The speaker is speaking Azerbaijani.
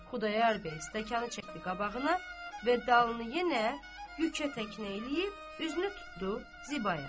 Xudayar bəy stəkanı çəkdi qabağına və dalını yenə yükə təknə eləyib, üzünü tutdu Zibaya.